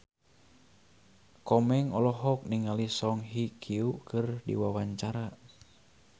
Komeng olohok ningali Song Hye Kyo keur diwawancara